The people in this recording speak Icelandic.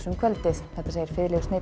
um kvöldið segir